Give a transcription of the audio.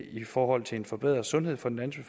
i forhold til en forbedret sundhed for den